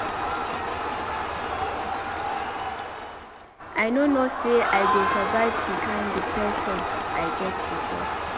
I no know say I go survive the kin depression I get before.